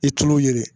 I tulo ye